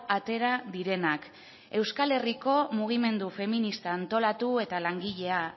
atera direnak euskal herriko mugimendu feminista antolatu eta langilea